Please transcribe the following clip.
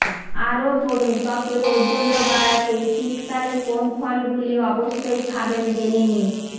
আরও পড়ুন ত্বকের ঔজ্জ্বল্য বাড়াতে শীতকালে কোন ফলগুলি অবশ্যই খাবেন জেনে নিন